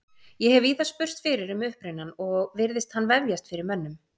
Ég hef víða spurst fyrir um upprunann og virðist hann vefjast fyrir mönnum.